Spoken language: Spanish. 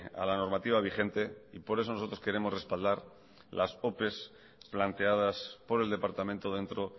a la normativa vigente y por eso nosotros queremos respaldar las opes planteadas por el departamento dentro